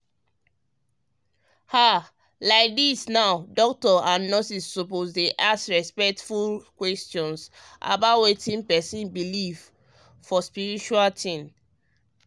ah like dem doctors and nurses suppose um dey ask respectful questions about wetin person believe for spiritual things.